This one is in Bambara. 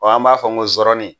an b'a fɔ ko zɔrɔni